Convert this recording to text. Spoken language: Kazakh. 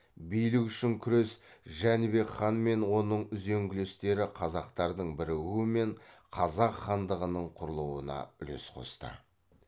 билік үшін күрес жәнібек хан мен оның үзеңгілестері қазақтардың бірігуі мен қазақ хандығының құрылуына үлес қосты